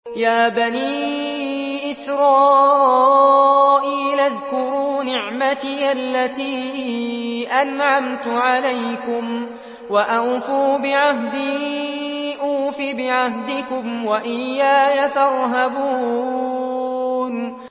يَا بَنِي إِسْرَائِيلَ اذْكُرُوا نِعْمَتِيَ الَّتِي أَنْعَمْتُ عَلَيْكُمْ وَأَوْفُوا بِعَهْدِي أُوفِ بِعَهْدِكُمْ وَإِيَّايَ فَارْهَبُونِ